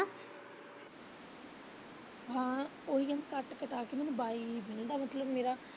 ਹਾਂ ਉਹੀ ਕਹਿੰਨੀ ਕਟਾ ਕੇ ਮੈਨੂੰ ਬਾਈ ਮਿਲਦਾ ਮਤਲਬ ਮੇਰਾ।